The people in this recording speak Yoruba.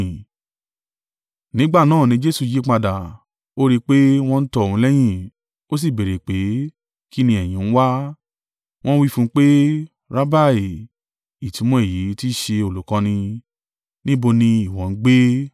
Nígbà náà ni Jesu yípadà, ó rí i pé wọ́n ń tọ òun lẹ́yìn, ó sì béèrè pé, “Kí ni ẹ̀yin ń wá?” Wọ́n wí fún un pé, “Rabbi” (ìtumọ̀ èyí tí í ṣe Olùkọ́ni), “Níbo ni ìwọ ń gbé?”